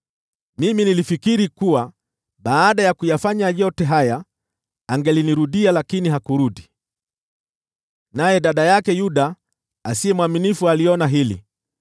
Mimi nilifikiri kuwa baada ya kuyafanya yote haya angelinirudia, lakini hakurudi, naye dada yake Yuda mdanganyifu aliona hili.